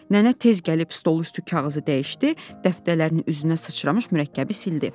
Nənə tez gəlib stolun üstü kağızı dəyişdi, dəftərlərin üzünə sıçramış mürəkkəbi sildi.